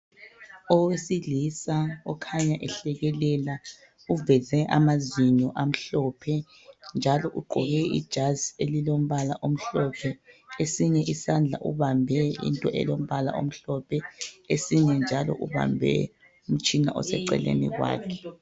Owesilisa okhanya ehlekelela uveze amazinyo amhlophe, njalo ugqoke ijazi elilombala omhlophe. Esinye isandla ubambe into elombala omhlophe, esinye njalo ubambe umtshina oseceleni kwakhe.